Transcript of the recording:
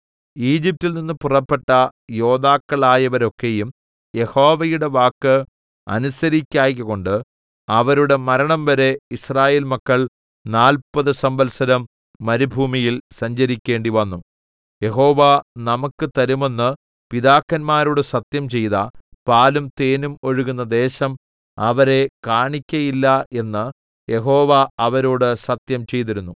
ഈജിപ്റ്റിൽ നിന്ന് പുറപ്പെട്ട യോദ്ധാക്കളായവരൊക്കെയും യഹോവയുടെ വാക്ക് അനുസരിക്കായ്കകൊണ്ട് അവരുടെ മരണംവരെ യിസ്രായേൽ മക്കൾ നാല്പത് സംവത്സരം മരുഭൂമിയിൽ സഞ്ചരിക്കേണ്ടിവന്നു യഹോവ നമുക്കു തരുമെന്ന് പിതാക്കന്മാരോട് സത്യംചെയ്ത പാലും തേനും ഒഴുകുന്ന ദേശം അവരെ കാണിക്കയില്ല എന്ന് യഹോവ അവരോട് സത്യം ചെയ്തിരുന്നു